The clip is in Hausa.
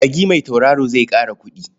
Magi mai tautaro zai ƙara kuɗi.